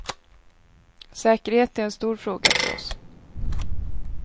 Säkerhet är en stor fråga för oss.